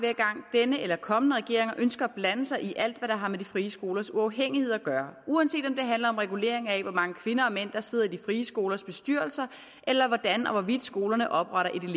denne eller kommende regeringer ønsker at blande sig i alt hvad der har med de frie skolers uafhængighed at gøre uanset om det handler om regulering af hvor mange kvinder og mænd der sidder i de frie skolers bestyrelse eller hvordan og hvorvidt skolerne opretter et